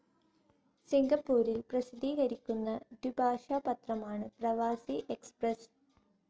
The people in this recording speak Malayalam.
സിംഗപ്പൂരിൽ പ്രസിദ്ധീകരിക്കുന്ന ദ്വിഭാഷാ പത്രമാണ് പ്രവാസി എക്സ്പ്രസ്സ്.